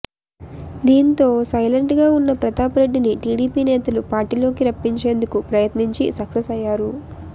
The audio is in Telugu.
దీంతో సైలెంట్గా ఉన్న ప్రతాప్ రెడ్డిని టీడీపీ నేతలు పార్టీలోకి రప్పించేందుకు ప్రయత్నించి సక్సెస్ అయ్యారు